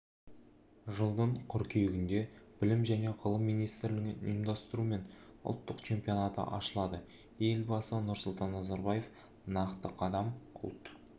жылдың қыркүйегінде білім және ғылым министрлігінің ұйымдастыруымен ұлттық чемпионаты ашылады елбасы нұрсұлтан назарбаев нақты қадам ұлт